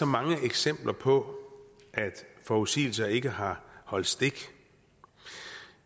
mange eksempler på at forudsigelser ikke har holdt stik